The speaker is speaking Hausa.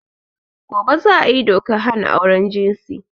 Gobe za a yi dokar hana auren jinsi.